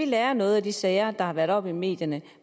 lære noget af de sager der har været oppe i medierne